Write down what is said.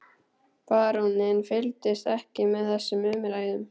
Baróninn fylgdist ekki með þessum umræðum.